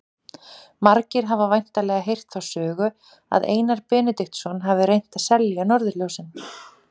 Margir hafa væntanlega heyrt þá sögu að Einar Benediktsson hafi reynt að selja norðurljósin.